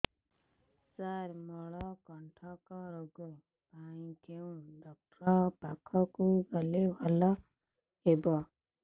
ସାର ମଳକଣ୍ଟକ ରୋଗ ପାଇଁ କେଉଁ ଡକ୍ଟର ପାଖକୁ ଗଲେ ଭଲ ହେବ